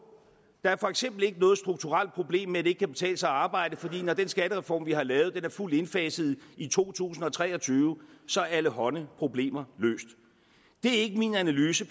der er for eksempel ikke noget strukturelt problem med at det ikke kan betale sig at arbejde for når den skattereform vi har lavet er fuldt indfaset i to tusind og tre og tyve så er allehånde problemer løst det er ikke min analyse